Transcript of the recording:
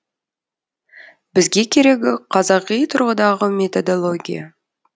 бізге керегі қазақи тұрғыдағы методология